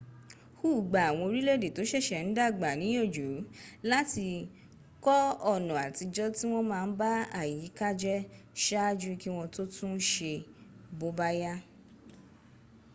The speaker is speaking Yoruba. hu gba àwọn orílẹ̀èdè tó sẹ̀sẹ̀ ń dàgbà níyànjú láti kọ ọ̀nà àtijọ́ tí wọ́n má ń ba àyíká jẹ́ saájú kí wọ́n tó tún un se bóbá yá.